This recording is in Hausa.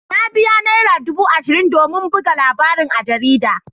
Na biya naira dubu ashirin domin buga labarin a jarida.